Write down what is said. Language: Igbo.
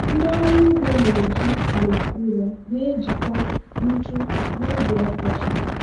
ndị ọrụ ugbo na-eji ala ụrọ na-ejikwa ntụ n'oge ọkọchị.